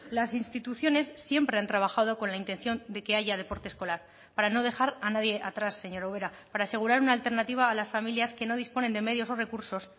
las instituciones siempre han trabajado con la intención de que haya deporte escolar para no dejar a nadie atrás señora ubera para asegurar una alternativa a las familias que no disponen de medios o recursos